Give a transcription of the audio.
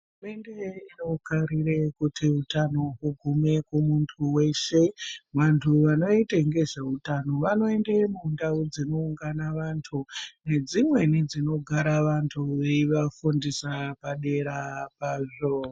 Hurumende inokarire kuti utano hugume kumuntu weshe , vantu vanoite ngezve utano vanoende mundau dzinoungana vantu ngedzimweni dzinogara vantu veiva fundisa padera pazvo.